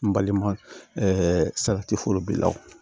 N balima ɛɛ salati foro bila o